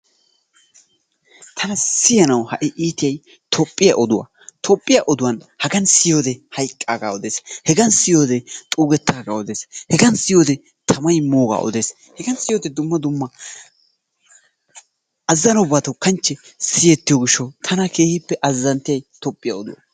Tana siyanawu ha'i iitiyaay Toophphiyaa oduwaa. Toophphiyaa oduwaa hagan siyoode hayqqaagaa odees. Hegan siyoode xuugettaagaa dees. Hegan siyoode tamay moogaa odees. hegan siyoode dumma dumma azanobatu kanchchee siyettiyoo giishshawu tana keehippe azanttiyay toophphiyaa oduwaa.